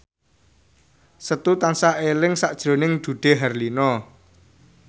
Setu tansah eling sakjroning Dude Herlino